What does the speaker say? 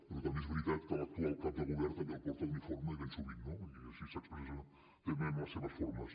però també és veritat que l’actual cap de govern també el porta l’uniforme i ben sovint no i així s’expressa també amb les seves formes